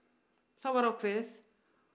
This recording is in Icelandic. það var ákveðið